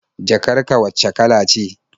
Jakar ka wacce kala ce?